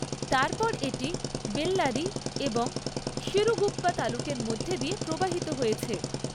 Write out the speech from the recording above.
তারপর এটি বেল্লারি এবং সিরুগুপ্পা তালুকের মধ্য দিয়ে প্রবাহিত হয়েছে।